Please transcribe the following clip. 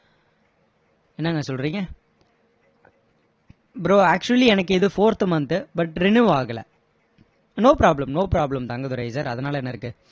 என்னங்க சொல்றீங்க bro actually எனக்கு இது fourth month but renew ஆகலை no problem no problem Thangadurai sir அதனால என்ன இருக்கு